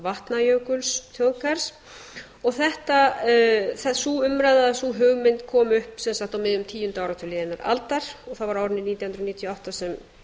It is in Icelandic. vatnajökulsþjóðgarðs og sú umræða eða sú hugmynd kom upp sem sagt á miðjum tíunda áratug liðinnar aldar og það var á árinu nítján hundruð níutíu og átta sem